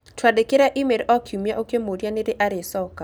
Twandĩkĩre e-mail o kiumia ũkĩmũũria nĩ rĩ arĩcoka.